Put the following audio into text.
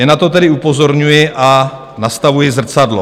Jen na to tedy upozorňuji a nastavuji zrcadlo.